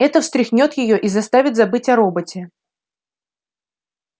это встряхнёт её и заставит забыть о роботе